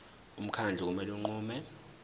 umkhandlu kumele unqume